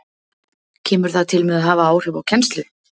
Kemur það til með að hafa áhrif á kennslu?